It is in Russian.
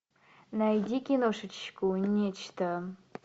найди киношечку нечто